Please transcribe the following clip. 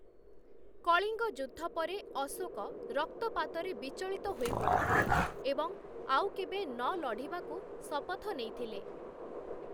କଳିଙ୍ଗ ଯୁଦ୍ଧ ପରେ, ଅଶୋକ ରକ୍ତପାତରେ ବିଚଳିତ ହୋଇପଡ଼ିଥିଲେ ଏବଂ ଆଉ କେବେ ନଲଢ଼ିବାକୁ ଶପଥ ନେଇଥିଲେ ।